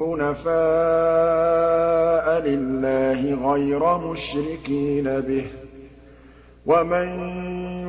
حُنَفَاءَ لِلَّهِ غَيْرَ مُشْرِكِينَ بِهِ ۚ وَمَن